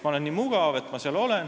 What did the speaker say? Ma olen nii mugav, et olen seal edasi.